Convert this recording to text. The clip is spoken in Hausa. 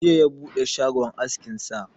Jiya ya buɗe shagon askin sa